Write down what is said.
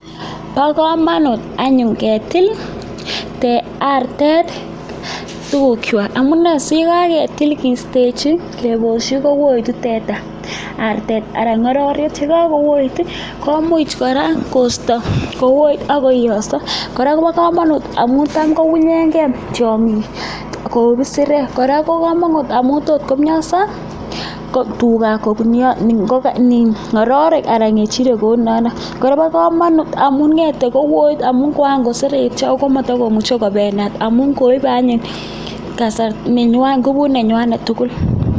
Bo komonut anyun ketile nego tuguchu, amune sigaketil kiistechi keboshi, koetu artet. Ye kagoet komuch kora kosto koet ak koioso, kora kobo komonut amun tam kounyenge tiong'ik kou isirek. Kora kobo komunt amun tot komyoso icheget . Kora kobo komonut amun nget koet ak koseretyo ago komotokomuche kobendat amun koibe anyun ngubut nenywanet tugul.